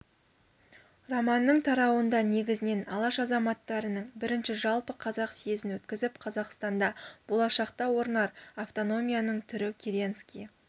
романның тарауында негізінен алаш азаматтарының бірінші жалпы қазақ съезін өткізіп қазақстанда болашақта орнар автономияның түрі керенский